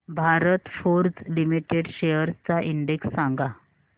Bharat Forge limited शेअर्स चा index सांगा